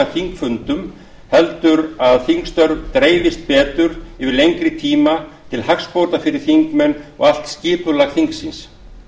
þingfundum heldur að þingstörf dreifist betur yfir lengri tíma til hagsbóta fyrir þingmenn og allt skipulag þingsins